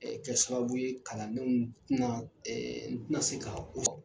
kɛ sababu ye kalandenw tɛ na n tɛ na se ka